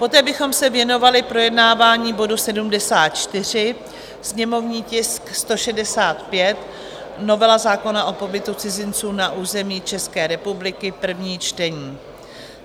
Poté bychom se věnovali projednávání bodu 74, sněmovní tisk 165, novela zákona o pobytu cizinců na území České republiky, první čtení.